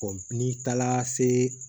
n'i taara se